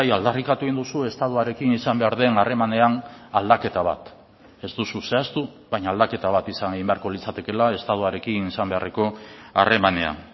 aldarrikatu egin duzu estatuarekin izan behar den harremanean aldaketa bat ez duzu zehaztu baina aldaketa bat izan egin beharko litzatekela estatuarekin izan beharreko harremanean